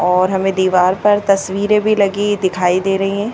और हमें दीवार पर तस्वीरें भी लगी दिखाई दे रही है।